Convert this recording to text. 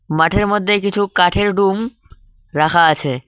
মাঠের মধ্যে কিছু কাঠের ডুম রাখা আছে।